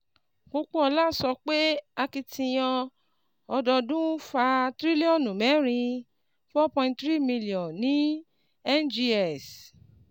Pópóọlá sọ pé akitiyan ọdọọdún fa tírílíọ̀nù mẹrin four point three million ní NGX